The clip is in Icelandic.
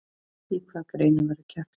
Í hvaða greinum verður keppt?